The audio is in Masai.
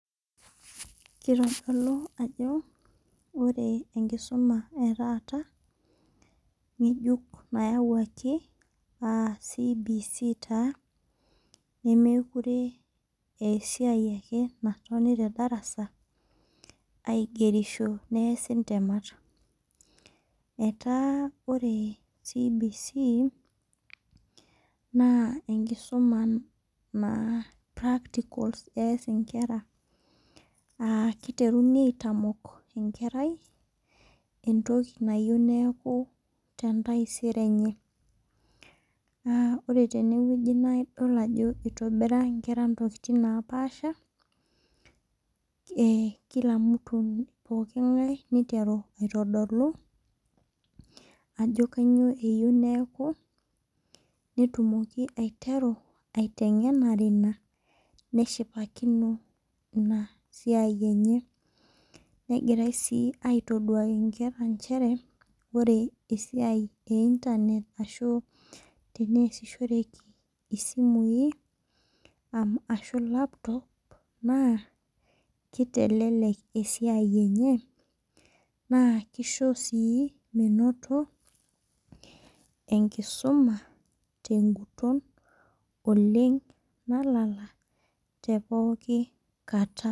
Kitodolu ajo ore enkisuma etata ng'ejuk nayawuaki aa CBC taa nemukure aa esiai ake natoni te darasa aigerishi neesi intemat. Etaa ore CBC naa inkesumaa naa practals eyas enkira aa kiteruni aitamok enkerai entoki nayeu neaku te ntaisere enye. Ore teneweji naa idol ajo itobira inkera intokitin naapasha kila mtu pokiin ng'ae niteru aitodolu ajo kainyoo eyeu neyaku nitumoki aiteru aiteng'enare ina neshipakink ina siai enye. Negirai sii atoduaki inkera nchere ore esiai ee internet [cs ashu tenayasishoreki isimui ashu laptop naa kitelelek esiai enye naa kisho sii menoto enkisuma teguton oleng' nalala te pookin katam